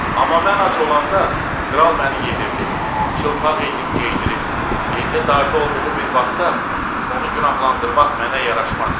Amma mən ac olanda kral məni yedirib, çılpaq idim geydirib, indi darda olduğu bir vaxtda onu günahlandırmaq mənə yaraşmaz.